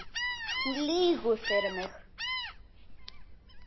Hún lýgur fyrir mig.